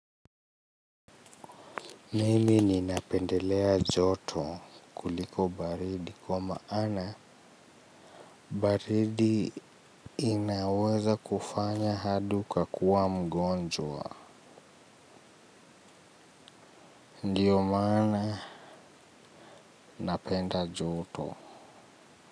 Nini ninapendelea joto kuliko baridi kwa maana baridi inaweza kufanya hadi ukakuwa mgonjwa. Ndiyo maana napenda joto.